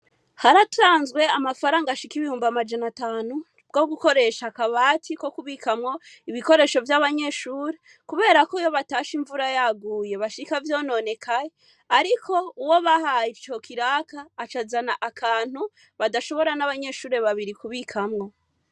Haratanzwe amafaranga ashika ibihumbi amajana atanu bwo gukoresha akabati ko kubikamwo ibikoresho vyabanyeshure kuberako iyo batashe imvura yaguye bashika vyononekaye, ariko uwo bahaye ico kiraka aca azana akantu badashobora n'abanyeshure babiri kubikamwo.